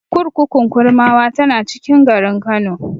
Kurkukun Kurmawa tana cikin garin Kano.